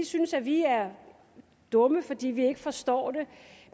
synes at vi er dumme fordi vi ikke forstår det